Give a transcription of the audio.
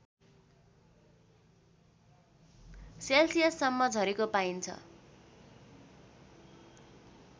सेल्सियससम्म झरेको पाइन्छ